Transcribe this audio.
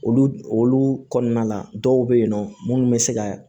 Olu olu kɔnɔna la dɔw be yen nɔ munnu be se ka